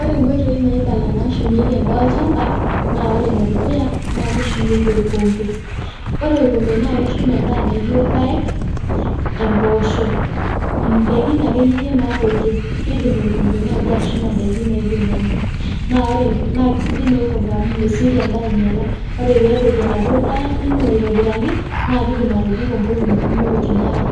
Ore nkoitoi naaibala naashumieki endaa ore ene dukuya naa orkombe. Ore orkembe naa keshum ndaiki naaijo irpaek, impoosho ndaikin akeyie naatooito, keidim orkombe atushuma ndaiki naaijo nena. Naa keisidai naa orkombe amuu mesioki endaa ainyala, ore pee etoyuo endaa ino aitobiraki naa kidim atobiko nkolong'i kumok eitu inyala.